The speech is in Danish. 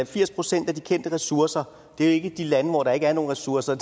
firs procent af de kendte ressourcer jo ikke i de lande hvor der ikke er nogen ressourcer